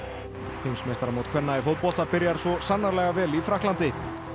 heimsmeistaramót kvenna í fótbolta byrjar svo sannarlega vel í Frakklandi